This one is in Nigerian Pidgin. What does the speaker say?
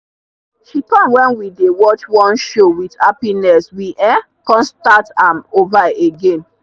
she come when we dey watch one show with happiness we um come start am over again.